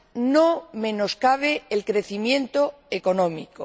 no menoscabe el crecimiento económico.